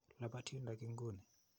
Lapat yundok inguni.